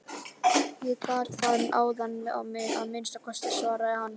Ég gat það áðan að minnsta kosti, svaraði hann.